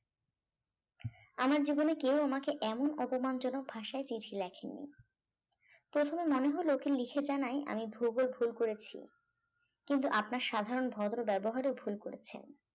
আমার জীবনে কেউ আমাকে এমন অপমানজনক ভাষায় চিঠি লেখেনি প্রথমে মনে হল ওকে লিখে জানাই আমি ভূগোল ভুল করেছি কিন্তু আপনার সাধারণ ভদ্র ব্যবহারেও ভুল করেছেন